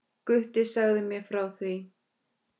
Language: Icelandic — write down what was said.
Gutti sagði mér frá því.